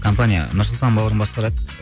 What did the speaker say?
компания нұрсұлтан бауырым басқарады